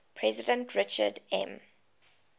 president richard m